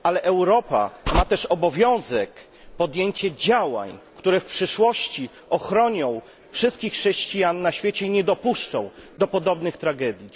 Ale Europa ma też obowiązek podjęcia działań, które w przyszłości ochronią wszystkich chrześcijan na świecie i nie dopuszczą do podobnych tragedii.